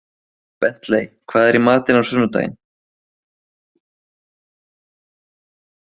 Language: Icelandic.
Bentley, hvað er í matinn á sunnudaginn?